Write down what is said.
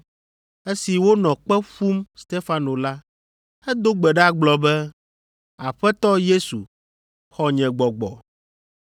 Esi wonɔ kpe fum Stefano la, edo gbe ɖa gblɔ be, “Aƒetɔ Yesu, xɔ nye gbɔgbɔ.”